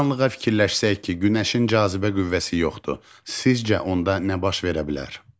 Bir anlığa fikirləşsək ki, günəşin cazibə qüvvəsi yoxdur, sizcə onda nə baş verə bilər?